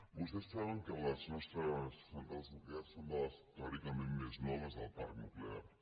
vostès saben que les nostres centrals nuclears són de les teòricament més noves del parc nuclear